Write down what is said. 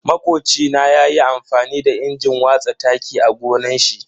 Makocina ya yi amfani da injin watsa taki a gonan shi.